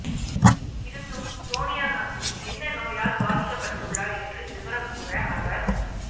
இருந்தும் சோனியா காந்தி என்ன நோயால் பாதிக்கப்பட்டுள்ளார் என்று விவரம் கூற அவர்